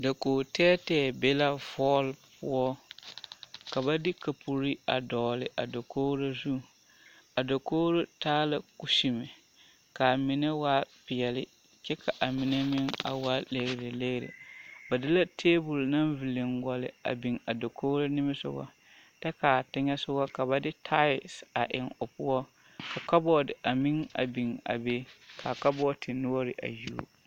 Dakogi tɛɛtɛɛ be la hɔɔl poɔ ka ba de kapuri a dɔgele a dakogiri zu a dakogiri taa la kusime k'a mine waa peɛle kyɛ ka a mine meŋ a waa legilegire ba de la teebol naŋ villiŋgɔlle a biŋ a dakogiri nimisogɔ kyɛ k'a teŋɛsogɔ ka ba de taalsi eŋ o poɔ ka kabɔɔte a meŋ a biŋ a be ka a kabɔɔte noɔre a yuo.